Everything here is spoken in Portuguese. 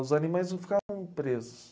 Os animais não ficavam presos.